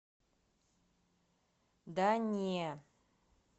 да не